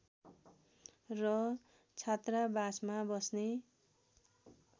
र छात्रावासमा बस्ने